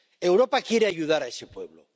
Europa quiere ayudar a ese pueblo.